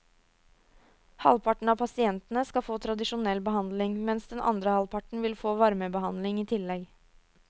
Halvparten av pasientene skal få tradisjonell behandling, mens den andre halvparten vil få varmebehandling i tillegg.